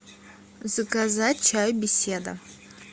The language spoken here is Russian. заказать чай беседа